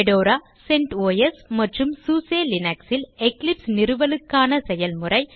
Fedora CentOS மற்றும் SUSE Linux ல் Eclipse நிறுவலுக்கான செயல்முறை